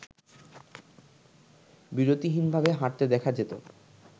বিরতিহীনভাবে হাঁটতে দেখা যেত